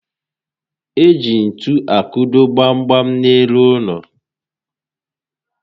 Eji ntu akụdo gbam gbam n'elu ụlọ